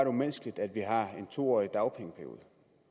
umenneskeligt at vi har en to årig dagpengeperiode